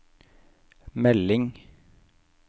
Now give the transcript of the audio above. melding